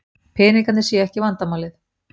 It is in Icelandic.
Peningarnir séu ekki vandamálið.